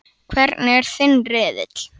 Hvernig er þinn riðill?